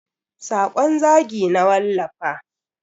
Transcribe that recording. Sakon zagi na wallafa.